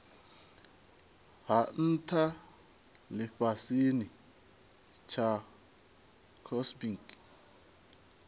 ha ntha lifhasini tsha cosmic